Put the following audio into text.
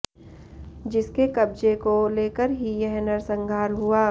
जिसके कब्जे को लेकर ही यह नरसंहार हुआ